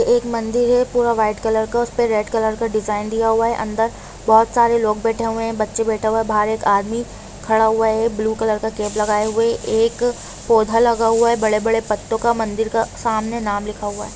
एक मंदिर हैं पूरा वाईट कलर का उस पे रेड कलर का डिजाइन दिया हुआ हैं अंदर बहुत सारे लोग बाइटे हुये हैं बच्चे बाइटे हुये हैं बाहर एक आदमि खड़ा हुआ हैं ब्लू कलर का कैप लगा ये हुये हैं एक पोधा लगा हुआ हैं बड़े बड़े पत्तों का मंदिर का सामने नाम लिखा हुआ हैं।